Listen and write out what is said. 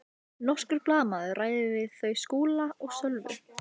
Kristjana: Og hér eru þjóðhöfðingjar og forsetar á ferð?